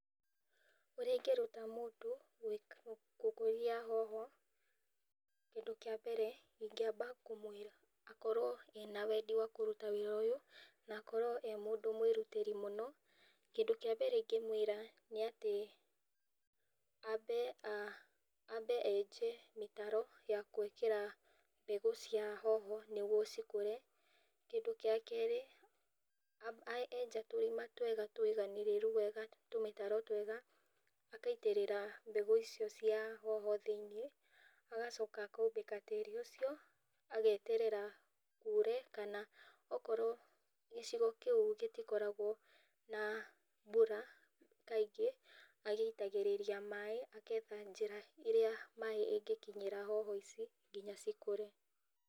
Ũrĩa ingĩruta mũndũ gũkũria hoho kĩndũ kĩa mbere ingĩamba kũmwĩra akorwo ena wendi wa kũruta wĩra ũyũ na akorwo e mũndũ mwĩrutĩri mũno, kĩndũ kĩa mbere ingĩamba kũmwĩra nĩ atĩ enje mĩtaro ya gwĩkĩra mbegũ cia hoho nĩguo cikũre, kĩndũ gĩa kerĩ, enja tũrima twega tũiganĩrĩru, tũmĩtaro twega agaitĩrĩra mbegũ cia hoho thĩinĩ, agacoka akaumbĩka tĩri ũcio, ageterera kure na akorwo gĩcigo kĩi gĩtikoragwo na mbura kaingĩ agĩitagĩtĩria maĩ, agetha njĩra ĩrĩa maĩ ĩngĩkinyĩra hoho ici nginya cikũre.